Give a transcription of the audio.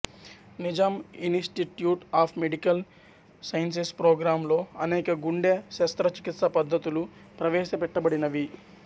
Nizam institute of medical sciences programme లో అనేక గుండే శస్త్ర చికిత్స పద్ధతులు ప్రవేశపెట్టబడినవి